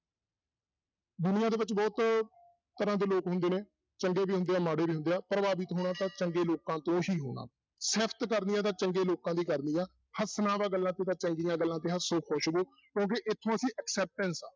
ਦੁਨੀਆਂ ਦੇ ਵਿੱਚ ਬਹੁਤ ਤਰਾਂ ਦੇ ਲੋਕ ਹੁੰਦੇ ਨੇ ਚੰਗੇ ਵੀ ਹੁੰਦੇ ਆ, ਮਾੜੇ ਵੀ ਹੁੰਦੇ ਆ, ਪ੍ਰਭਾਵਿਤ ਹੋਣਾ ਤਾਂ ਚੰਗੇ ਲੋਕਾਂ ਤੋਂ ਹੀ ਹੋਣਾ, ਸਿਫ਼ਤ ਕਰਨੀ ਆ ਤਾਂ ਚੰਗੇ ਲੋਕਾਂ ਦੀ ਕਰਨੀ ਆ, ਹੱਸਣਾ ਤਾਂ ਗੱਲਾਂ ਚੰਗੀਆਂ ਗੱਲਾਂ ਤੇ ਹੱਸੋ, ਖੁਸ਼ ਰਹੋ ਕਿਉਂਕਿ ਇੱਥੋਂ ਅਸੀਂ acceptance ਆਹ